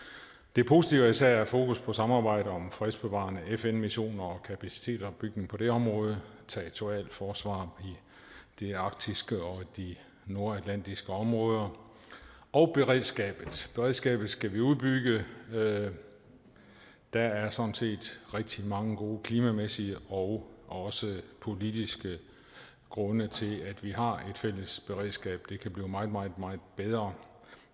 det positive er især at have fokus på samarbejdet om fredsbevarende fn missioner og kapacitetsopbygning på det område territorialforsvar i det arktiske område og i de nordatlantiske områder og beredskabet beredskabet skal vi udbygge der er sådan set rigtig mange gode klimamæssige og også politiske grunde til at vi har et fælles beredskab det kan blive meget meget bedre